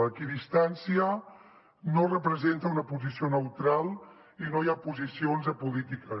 l’equidistància no representa una posició neutral i no hi ha posicions apolítiques